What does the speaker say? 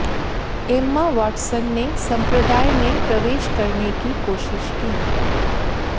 Emma Watson ने संप्रदाय में प्रवेश करने की कोशिश की